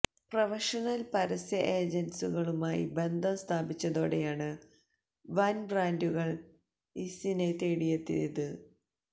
professional പരസ്യ ഏജന്സുകളുമായി ബന്ധം സ്ഥാപിച്ചതോടെയാണ് വന് ബ്രാന്ഡുകള് ഇസിനെ തേടിയെത്തിയത്